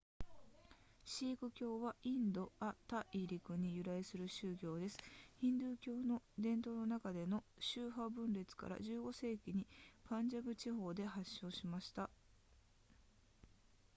シーク教はインド亜大陸に由来する宗教ですヒンドゥー教の伝統の中での宗派分裂から15世紀にパンジャブ地方で発祥しました